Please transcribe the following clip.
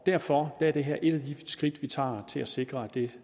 derfor er det her et af de skridt vi tager til at sikre at det